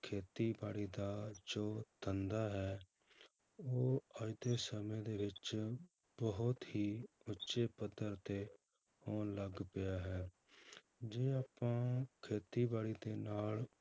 ਖੇਤੀਬਾੜੀ ਦਾ ਜੋ ਧੰਦਾ ਹੈ ਉਹ ਅੱਜ ਦੇ ਸਮੇਂ ਦੇ ਵਿੱਚ ਬਹੁਤ ਹੀ ਉੱਚੇ ਪੱਧਰ ਤੇ ਹੋਣ ਲੱਗ ਪਿਆ ਹੈ, ਜੇ ਆਪਾਂ ਖੇਤੀਬਾੜੀ ਦੇ ਨਾਲ